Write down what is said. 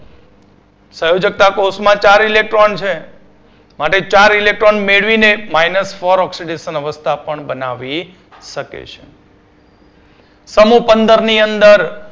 સંયોજકતા કોષ મા ચાર electron છે માટે ચાર electron મેળવીને minus four oxidation અવસ્થા પણ બનાવી શકે છે. સમુહ પંદરની અંદર